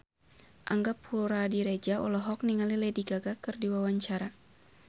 Angga Puradiredja olohok ningali Lady Gaga keur diwawancara